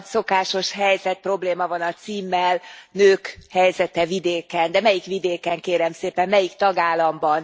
Megint a szokásos helyzet, probléma van a címmel, nők helyzete vidéken, de melyik vidéken, kérem szépen, melyik tagállamban?